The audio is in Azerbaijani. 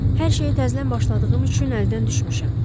Hər şeyi təzədən başladığım üçün əldən düşmüşəm.